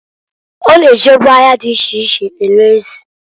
O na-ejebu ahịa di iche iche ere ezi.